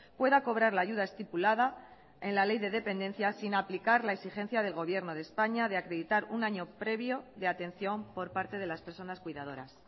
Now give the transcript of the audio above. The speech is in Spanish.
pueda cobrar la ayuda estipulada en la ley de dependencia sin aplicar la exigencia del gobierno de españa de acreditar un año previo de atención por parte de las personas cuidadoras